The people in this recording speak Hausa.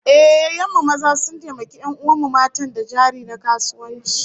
Ehh, yayyen mu maza sun taimaki 'yan'uwan mu matan da jari na kasuwanci